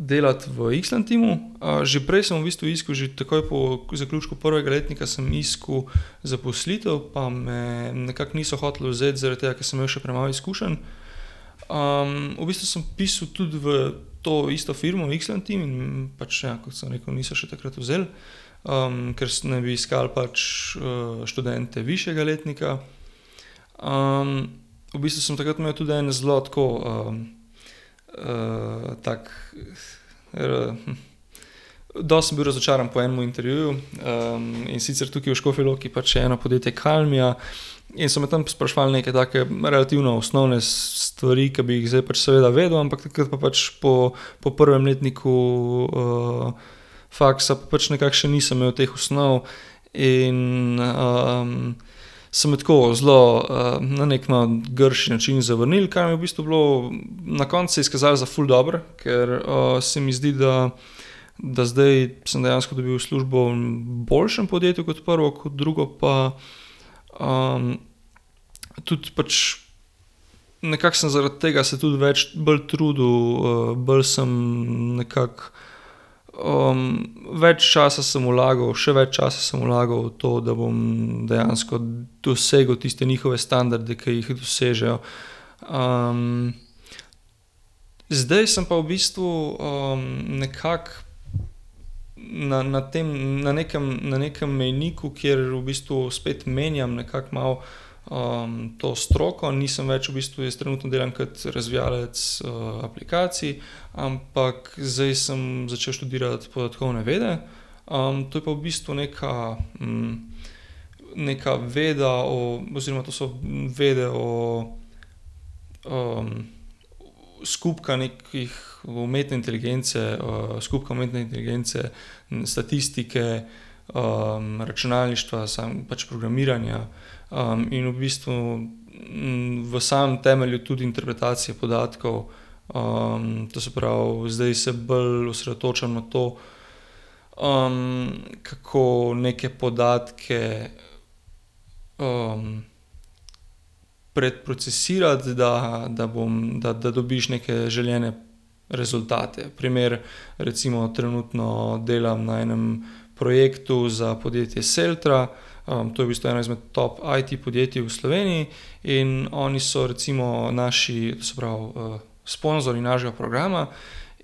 delati v Islantimu. že prej sem v bistvu iskal že takoj po zaključku prvega letnika, sem iskal zaposlitev, pa me nekako niso hoteli vzeti, zaradi tega, ker sem imel še premalo izkušenj. v bistvu sem pisal tudi v to isto firmo v Islantim in pač ja, kot sem rekel, niso še takrat vzeli. ker naj bi iskali pač, študente višjega letnika, v bistvu sem takrat imel tudi en zelo tlo, tako, dosti sem bil razočaran po enem intervjuju, in sicer tukaj v Škofji Loki pač eno podjetje Kalmia, in so me tam spraševali neke take relativno osnovne stvari, ki bi jih zdaj pač seveda vedel, ampak takrat pa pač po po prvem letniku, faksa pač nekako še nisem imel teh osnov in, so me tako zelo, na neki, no, grši način zavrnili, kar mi je v bistvu bilo, na koncu se je izkazalo za ful dobro, ker, se mi zdi, da, da zdaj sem dejansko dobil službo v boljšem podjetju, kot prvo, kot drugo pa, tudi pač nekako sem zaradi tega se tudi več bolj trudil, bolj sem nekako, več časa sem vlagal, še več časa sem vlagal v to, da bom dejansko dosegel tiste njihove standarde, ke jih dosežejo. zdaj sem pa v bistvu, nekako na, na tem, na nekem, na nekem mejniku, kjer v bistvu spet menjam nekako malo, to stroko, nisem več, v bistvu jaz trenutno delam kot razvijalec, aplikacij, ampak zdaj sem začel študirati podatkovne vede. to je pa v bistvu neka, neka veda o oziroma to so vede, o, skupka neke umetne inteligence, skupka umetne inteligence in statistike, računalništva, samo pač programiranja. in v bistvu v samem temelju tudi interpretacija podatkov. to se pravi, zdaj se bolj osredotočam na to, kako neke podatke, predprocesirati, da, da bom, da dobiš neke želene rezultate. Primer, recimo trenutno delam na enem projektu za podjetje Seltra. to je v bistvu ena izmed top IT-podjetij v Sloveniji, in oni so recimo naši, se pravi, sponzorji našega programa.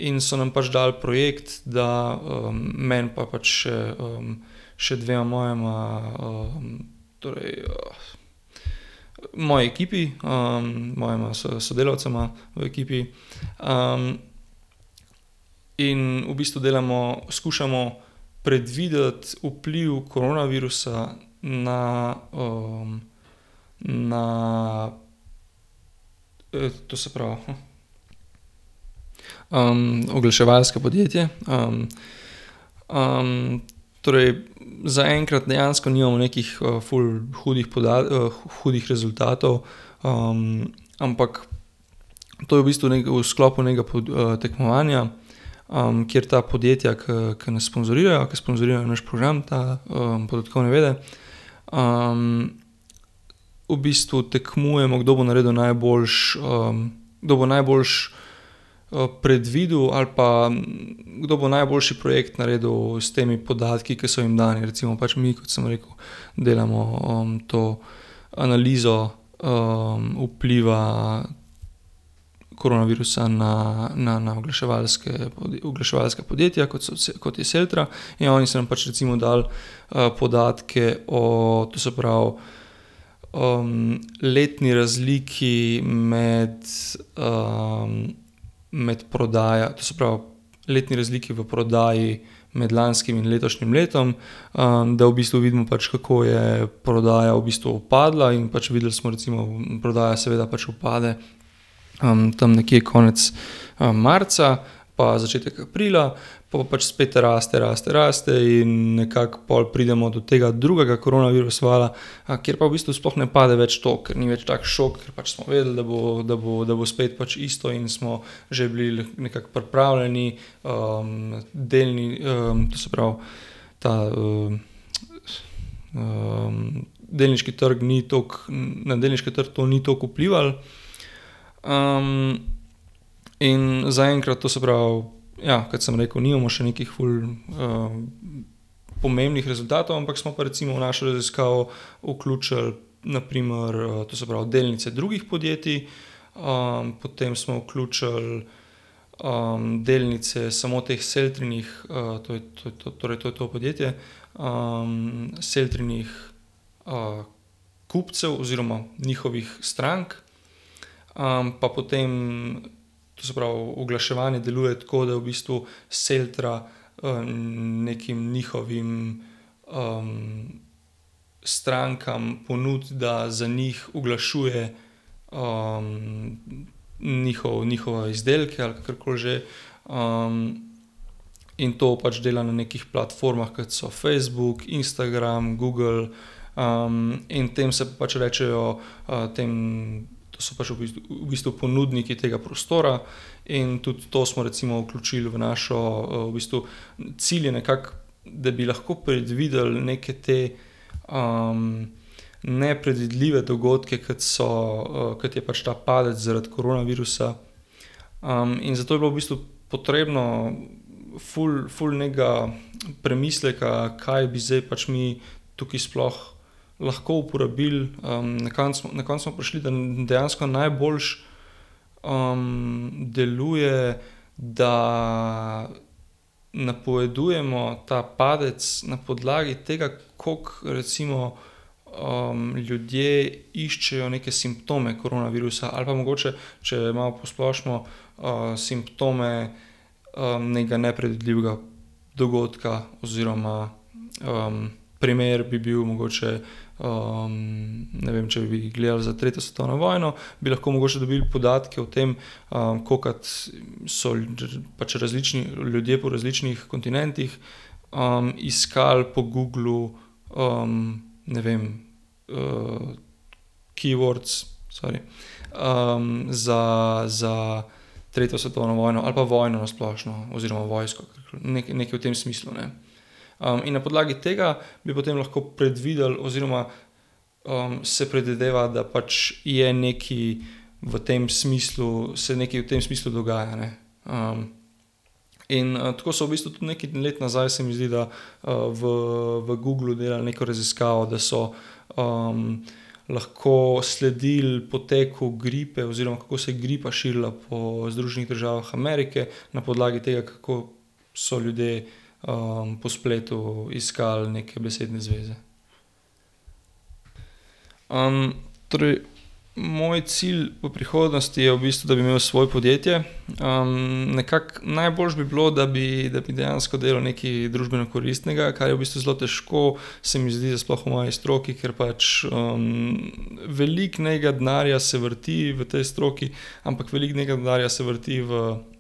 In so nam pač dali projekt, da, meni pa pač še še dvema mojima, torej, moji ekipi, mojima sodelavcema v ekipi, in v bistvu delamo, skušamo predvideti vpliv koronavirusa na, na, to se pravi, oglaševalsko podjetje, torej zaenkrat dejansko nimamo nekih, ful hudih hudih rezultatov, ampak to je v bistvu v sklopu nekega tekmovanja, kjer ta podjetja, ke, ke nas sponzorirajo, ke sponzorirajo naš program, te, podatkovne vede, v bistvu tekmujemo, kdo bo naredil najboljše, kdo bo najboljše, predvidel ali pa kdo bo najboljši projekt naredil s temi podatki, ke so jim dani, recimo pač mi, kot sem rekel, delamo, to analizo, vpliva koronavirusa na, na, na oglaševalska, oglaševalska podjetja, kot so, kot je Seltra, in oni so nam pač recimo dali, podatke o, to se pravi, letni razliki med, med prodajo, to se pravi, letni razliki v prodaji med lanskim in letošnjim letom. da v bistvu vidimo pač, kako je prodaja v bistvu upadla in pač videli smo recimo prodaja seveda pač upade, tam nekje konec, marca pa začetek aprila, pol pa pač spet raste, raste, raste in nekako pol pridemo do tega drugega koronavirus vala. kjer pa v bistvu sploh ne pade več toliko, ni več tak šok, ker pač smo vedeli, da bo, da bo, da bo spet pač isto, in smo že bili nekako pripravljeni, delni, to se pravi, ta, delniški trg ni toliko, na delniški trg to ni toliko vplivalo. in zaenkrat, to se pravi, ja, kot sem rekel, nimamo še nekih ful, pomembnih rezultatov, ampak smo pa recimo v našo raziskavo vključili na primer, to se pravi, delnice drugih podjetij. potem smo vključili, delnice samo teh Seltrinih, to je, to je to, torej to podjetje. Seltrinih, kupcev oziroma njihovih strank. pa potem, to se pravi, oglaševanje deluje tako, da v bistvu Seltra, nekim njihovim, strankam ponudi, da za njih oglašuje, njihov, njihove izdelke ali kakorkoli že, in to pač dela na nekih platformah, kot so Facebook, Instagram, Google, in tem se pač rečejo, tem, to so pač v bistvu, v bistvu ponudniki tega prostora in tudi to smo recimo vključili v našo, v bistvu cilj je nekako, da bi lahko predvideli neke te, nepredvidljive dogodke, kot so, kot je pač ta padec zaradi koronavirusa. in zato je bilo v bistvu potrebno ful, ful nekega premisleka, kaj bi zdaj pač mi tukaj sploh lahko uporabili, na koncu, na koncu smo prišli, da dejansko najboljše, deluje, da napovedujemo ta padec na podlagi tega, koliko recimo, ljudje iščejo neke simptome koronavirusa ali pa mogoče, če malo posplošimo, simptom, nekega nepredvidljivega dogodka oziroma, primer bi bil mogoče, ne vem, če bi gledali za tretjo svetovno vojno, bi lahko mogoče dobil podatke o tem, kolikokrat so pač različni ljudje po različnih kontinentih, iskali po Googlu, ne vem, keywords, sorry, za, za tretjo svetovno vojno ali pa vojno na splošno, oziroma vojsko, karkoli nekaj, nekaj v tem smislu. in na podlagi tega bi potem lahko predvideli oziroma, se predvideva, da pač je nekaj v tem smislu, se nekaj v tem smislu dogaja, ne. in, tako so v bistvu tudi nekaj let nazaj, se mi zdi, da, v, v Googlu delali neko raziskavo, da so, lahko sledili poteku gripe oziroma, kako se gripa širila po Združenih državah Amerike, na podlagi tega, kako so ljudje, po spletu iskali neke besedne zveze. torej moj cilj v prihodnosti je v bistvu, da bi imel svoje podjetje. nekako najboljše bi bilo, da bi, da bi dejansko delal nekaj družbeno koristnega, kar je v bistvu zelo težko, se mi zdi, da sploh v moji stroki, ker pač, veliko nekega denarja se vrti v tej stroki, ampak veliko nekega denarja se vrti v, v,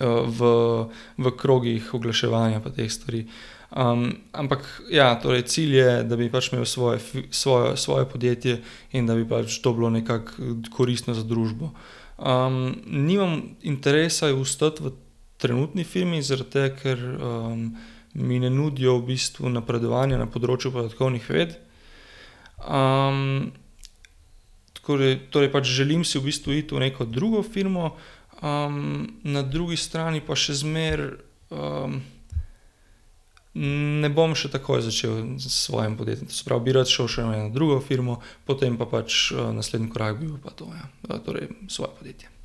v krogih oglaševanja pa teh stvari. ampak ja, torej cilj je, da bi pač imel svojo svoje podjetje in da bi pač to bilo nekako koristno za družbo. nimam interesa ostati v trenutni firmi, zaradi tega, ker, mi ne nudijo v bistvu napredovanja na področju podatkovnih ved. torej, torej želim si v bistvu iti v neko drugo firmo, na drugi strani pa še zmeraj, ne bom še takoj začel s svojim podjetjem, to se pravi, bi rad šel še v eno drugo firmo, potem pa pač, naslednji korak bi bil pa to, ja, torej svoje podjetje.